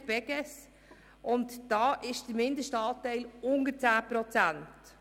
Hier liegt der Mindestanteil unter 10 Prozent.